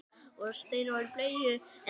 Ég get ekki verið annað.